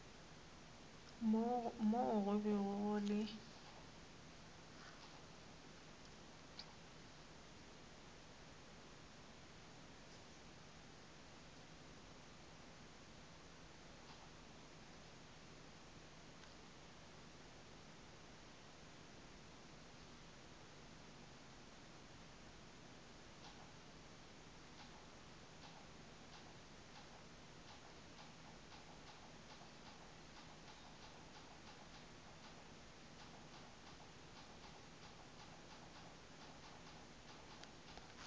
moo go bego go le